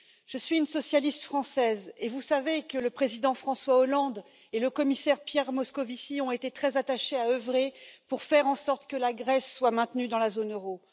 Je suis une socialiste française, et vous savez que le président François Hollande et le commissaire Pierre Moscovici ont été très attachés à œuvrer pour faire en sorte que la Grèce soit maintenue dans la zone euro.